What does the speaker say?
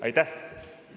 Aitäh!